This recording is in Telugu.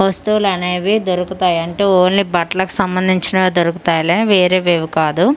వస్తువులనేవి దొరుకుతాయి అంటే ఓన్లీ బట్లకి సంబంధించినవే దొరుకుతాయి లే వేరేవేవీ కాదు.